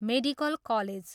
Medical college.